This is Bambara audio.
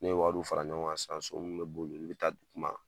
Ne ye wari fara ɲɔgɔn kan sisan, so min bɛ boli olu bɛ taa di kuma.